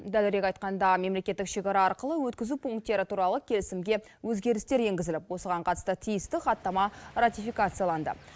дәлірек айтқанда мемлекеттік шекара арқылы өткізу пункттері туралы келісімге өзгерістер енгізіліп осыған қатысты тиісті хаттама ратификацияланды